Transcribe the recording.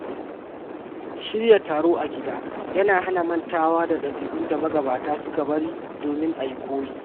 Shirya taro a gida yana hana mantuwa da ɗabi’un da magabata suka bari domin a yi koyi.